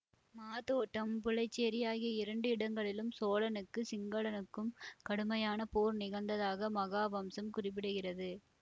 மாதோட்டம் புலைச்சேரி ஆகிய இரண்டு இடங்களிலும் சோழனுக்கு சிங்களனுக்கும் கடுமையான போர் நிகழ்ந்ததாக மகாவம்சம் குறிப்பிடுகிறது